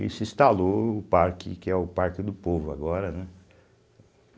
E se instalou o parque, que é o Parque do Povo agora, né?